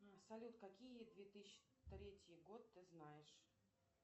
салют какие две тысячи третий год ты знаешь